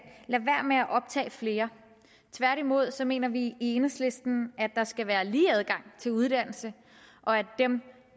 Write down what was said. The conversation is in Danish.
optage flere tværtimod mener vi i enhedslisten at der skal være lige adgang til uddannelse og at dem